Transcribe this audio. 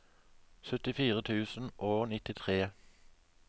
syttifire tusen og nittitre